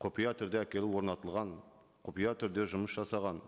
құпия түрде әкеліп орнатылған құпия түрде жұмыс жасаған